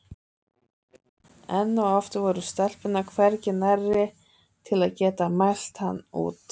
Enn og aftur voru stelpurnar hvergi nærri til að geta mælt hann út.